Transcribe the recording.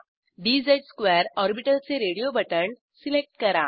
dz2 orbital चे radio button select करा